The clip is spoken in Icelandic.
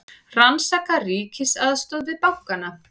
Rannsaka ríkisaðstoð við bankana